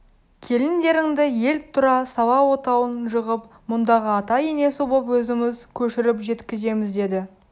келіндеріңді ел тұра сала отауын жығып мұндағы ата-енесі боп өзіміз көшіріп жеткіземіз деді